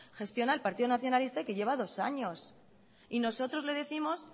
gestiona el partido nacionalista y que lleva dos años y nosotros le décimos